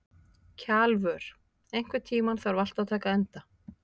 Kjalvör, einhvern tímann þarf allt að taka enda.